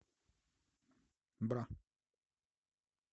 бра